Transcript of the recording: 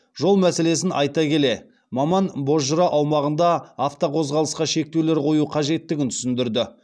жол мәселесін айта келе маман бозжыра аумағында автоқозғалысқа шектеулер қою қажеттігін түсіндірді